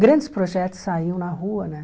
Grandes projetos saíam na rua, né?